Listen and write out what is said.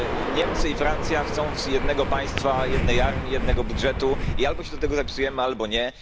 Niemcy i Francja chcą jednego państwa, jednej armii, jednego budżetu i albo się do tego zapisujemy, albo nie.